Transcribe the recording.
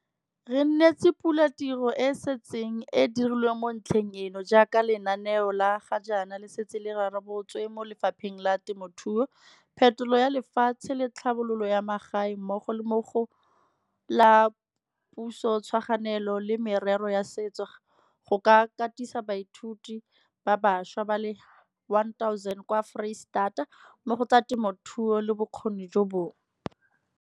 Re nesetsa pula tiro e e setseng e dirilwe mo ntlheng eno, jaaka lenaneo le ga jaana le setse le rebotswe mo Lefapheng la Temothuo, Phetolo ya Lefatshe le Tlhabololo ya Magae mmogo le mo go la Pusotshwaraganelo le Merero ya Setso go ka katisa baithuti ba bašwa ba le 1 000 kwa Foreisetata mo go tsa temothuo le bokgoni jo bongwe.